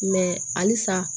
halisa